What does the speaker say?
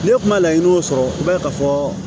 Ne kuma laɲiniw sɔrɔ i b'a ye ka fɔ